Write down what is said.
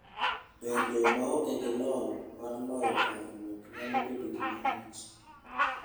Bedo maonge gi lony mar loyo parruok nyalo bedo gima rach.